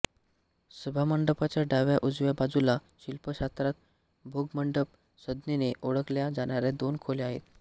सभामंडपाच्या डाव्याउजव्या बाजूला शिल्पशास्त्रात भोगमंडप संज्ञेने ओळखल्या जाणाऱ्या दोन खोल्या आहेत